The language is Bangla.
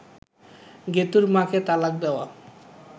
গেতুঁর মা’কে তালাক দেওয়া